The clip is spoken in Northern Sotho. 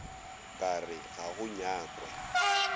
ka re ga go nyakwe